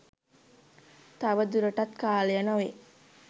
තවදුරටත් කාලය නොවේ.